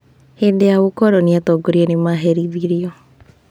Hĩndĩ ya ũkoroni, atongoria nĩ maherithirio.